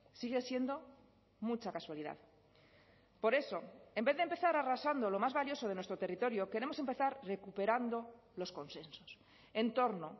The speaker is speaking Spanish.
sigue siendo mucha casualidad por eso en vez de empezar arrasando lo más valioso de nuestro territorio queremos empezar recuperando los consensos en torno